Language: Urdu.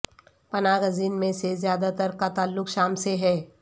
پناہ گزین میں سے زیادہ تر کا تعلق شام سے ہے